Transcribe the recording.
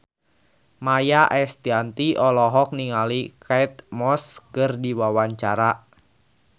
Maia Estianty olohok ningali Kate Moss keur diwawancara